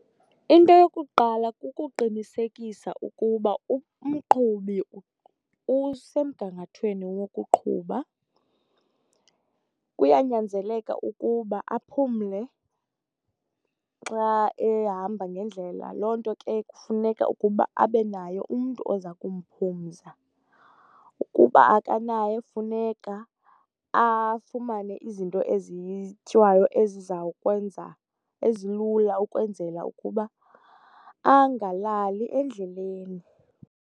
Into yokuqala kukuqinisekisa ukuba umqhubi usemgangathweni wokuqhuba. Kuyanyanzeleka ukuba aphumle xa ehamba ngendlela, loo nto ke kufuneka ukuba abe naye umntu oza kumphumza. Ukuba akanaye funeka afumane izinto ezityiwayo ezizawukwenza, ezilula ukwenzela ukuba anagalali endleleni.